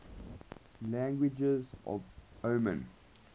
languages of oman